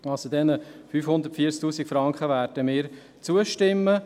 Wir werden den 540 000 Franken zustimmen.